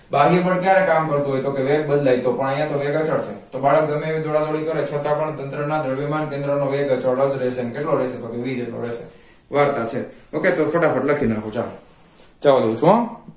બાહ્ય બળ ક્યારે કામ કરતો હોય તો કે વેગ બદલાય તો પણ અહીંયા તો વેગ અચળ છે તો બાળક ગમે એવી દોડા દોડી કરે છતાં પણ તંત્રના દ્રવ્યમાન કેન્દ્રનો વેગ અચળાંક જ રહેશે અને કેટલો રહશે તો કે v જેટલો રહશે વાત આ છેતો કે ફટાફટ લાખી નાંખો ચાલો